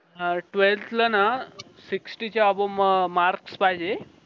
अह twelfth ला ना sixty च्या above marks पाहिजे